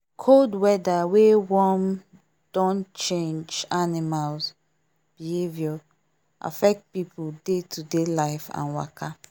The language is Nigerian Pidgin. cold weather wey warm don change animals behaviour affect people day to day life and waka